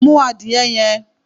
Mú adìyẹ yẹn!